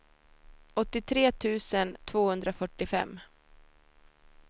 åttiotre tusen tvåhundrafyrtiofem